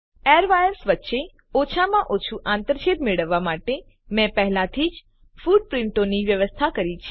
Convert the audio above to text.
air wires વચ્ચે ઓછામાં ઓછું આંતરછેદ મેળવવા માટે મેં પહેલાથી જ ફૂટપ્રીંટોની વ્યવસ્થા કરી છે